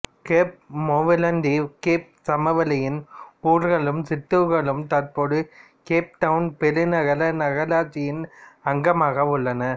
gap மூவலந்தீவு Cape சமவெளியின் ஊர்களும் சிற்றூர்களும் தற்போது கேப் டவுன் பெருநகர நகராட்சியின் அங்கமாக உள்ளன